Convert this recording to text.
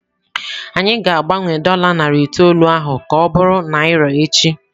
Anyị ga-agbanwe dola narị itoolu ahụ ka ọ bụrụ naira echi.